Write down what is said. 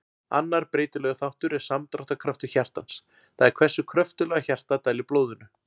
Annar breytilegur þáttur er samdráttarkraftur hjartans, það er hversu kröftuglega hjartað dælir blóðinu.